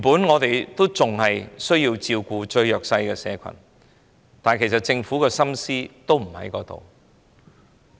我們原本需要照顧最弱勢的社群，但政府的心思不在於此。